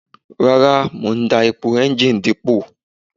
Rara, Mo n da epo engine dipo